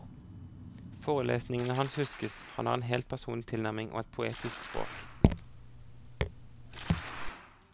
Forelesningene hans huskes, han har en helt personlig tilnærming og et poetisk språk.